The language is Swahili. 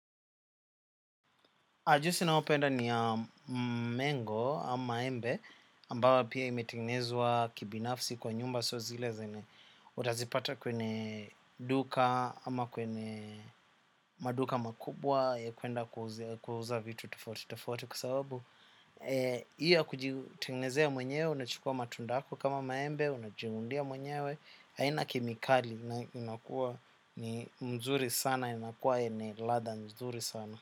Ajusi na wapenda ni mengo ama embe ambayo pia imetignezwa kibinafsi kwa nyumba sio zile zenye utazipata kwenye duka ama kwenye maduka makubwa ya kuenda kuuza vitu tofauti tofauti kwa sababu hii ya kujitengenezea mwenyewe unachukua matunda yako kama maembe unajiundia mwenyewe haina kemikali inakuwa ni mzuri sana inakuwa yenye ladha nzuri sana.